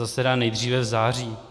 Zasedá nejdříve v září.